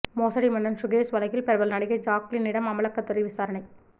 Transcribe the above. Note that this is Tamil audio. மோசடி மன்னன் சுகேஷ் வழக்கில் பிரபல நடிகை ஜாக்குலினிடம் அமலாக்கத்துறை விசாரணை